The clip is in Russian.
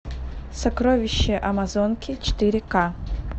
сокровища амазонки четыре к